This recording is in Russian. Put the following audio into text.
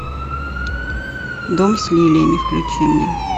дом с лилиями включи мне